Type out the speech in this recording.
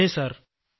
അതെ സർ